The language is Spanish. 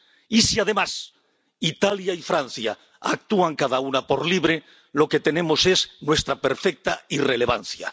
Y, si, además, Italia y Francia actúan cada una por libre, lo que tenemos es nuestra perfecta irrelevancia.